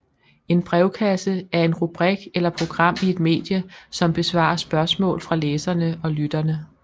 En brevkasse er en rubrik eller program i et medie som besvarer spørgsmål fra læserne og lytterne